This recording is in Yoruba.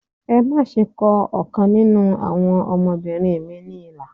Ẹ má ṣe kọ ọ̀kan nínú àwọn ọmọbìnrin mi ní ilà